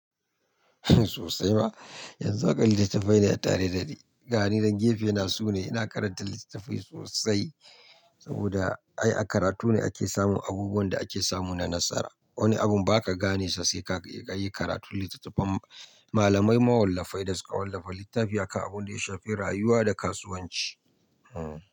Sosai ma. Yanzu haka littattafai ne a tare da ni. Gani nan gefe na su ne ina karanta littattafai sosai. Saboda ai a karatu ne ake samun abubuwan da ake samu na nasara. Wani abun ba ka gane sa sai ka yi karatu. Littattafan malamai mawallafai da suka wallafa littafi a kan abun da ya shafi rayuwa da kasuwanci. Hmm.